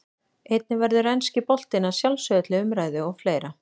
Einnig verður enski boltinn að sjálfsögðu til umræðu og fleira.